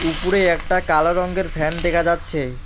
উপরে একটা কালো রঙ্গের ফ্যান দেখা যাচ্ছে।